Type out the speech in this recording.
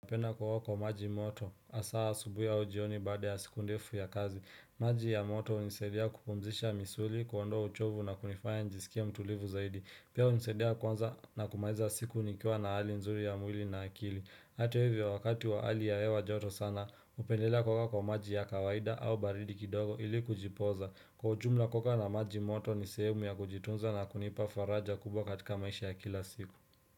Napenda kuoga kwa maji moto, hasa asubui au jioni baada ya siku ndefu ya kazi. Maji ya moto hunisaidia kupumzisha misuli, kuondoa uchovu na kunifanya nijisikie mtulivu zaidi. Pia hunisaidia kwanza na kumaliza siku nikiwa na hali nzuri ya mwili na akili. Hata hivyo wakati wa hali ya hewa joto sana, hupendelea kuoga kwa maji ya kawaida au baridi kidogo ili kujipoza. Kwa ujumla kuoga na maji moto ni sehemu ya kujitunza na kunipa faraja kubwa katika maisha ya kila siku.